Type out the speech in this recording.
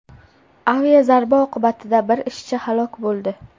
Aviazarba oqibatida bir ishchi halok bo‘ldi.